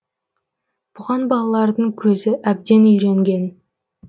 бұған балалардың көзі әбден үйренген